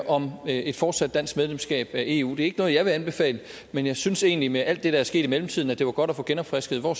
om et fortsat dansk medlemskab af eu det er jeg vil anbefale men jeg synes egentlig med alt det der er sket i mellemtiden at det ville være godt at få genopfrisket hvor